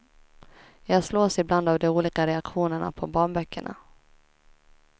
Jag slås ibland av de olika reaktionerna på barnböckerna.